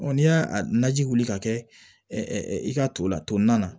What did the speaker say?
n'i y'a naji wuli ka kɛ i ka to la tolinan na